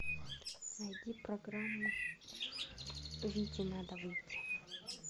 найди программу вите надо выйти